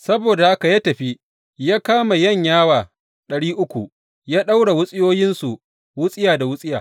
Saboda haka ya tafi ya kama yanyawa ɗari uku ya ɗaura wutsiyoyinsu wutsiya da wutsiya.